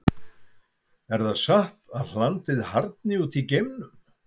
Er það satt að hlandið harðni út í geimnum?